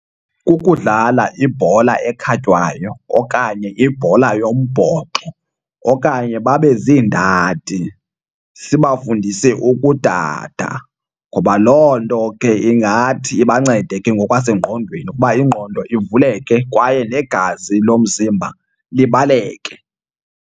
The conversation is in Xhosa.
Kukudlala ibhola ekhatywayo okanye ibhola yombhoxo okanye babe ziindadi sibafundise ukudada ngoba loo nto ke ingathi ibancede ke ngokwasengqondweni ukuba ingqondo ivuleke kwaye negazi lomzimba libaleke.